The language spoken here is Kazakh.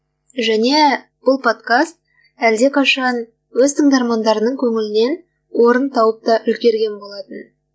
және бұл подкаст әлдеқашан өз тыңдармандарының көңілінен орын тауып та үлгерген болатын